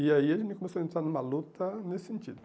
E aí a gente começou a entrar numa luta nesse sentido.